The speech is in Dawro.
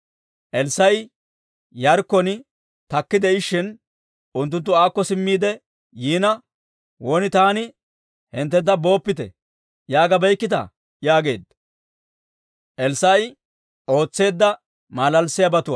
Elssaa'i Yaarikkon takki de'ishshin, unttunttu aakko simmiide yiina, «Won taani hinttentta ‹Booppite› yaagabeykkita?» yaageedda.